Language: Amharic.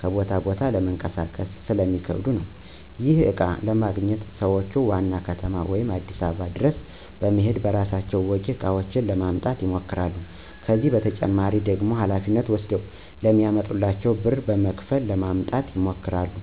ከቦታ ቦታ ለማንቀሳቀስ ስለሚከብዱ ነው። ይህንንም እቃ ለማግኘት ሰዎች ዋና ከተማ ወይም አዲስ አበባ ድረስ በመሔድ በራሳቸው ወጪ እቃውን ለማምጣት ይሞክራሉ። ከዚህ በተጨማሪ ደግሞ ሀላፊነት ወስደ ለሚያመጣላቸው ብር በመክፈል ለማስመጣት ይሞክራሉ።